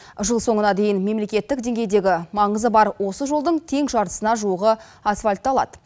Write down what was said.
жыл соңына дейін мемлекеттік деңгейдегі маңызы бар осы жолдың тең жартысына жуығы асфальтталады